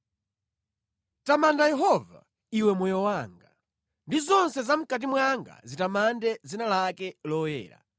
Tamanda Yehova, iwe moyo wanga; ndi zonse zamʼkati mwanga zitamande dzina lake loyera.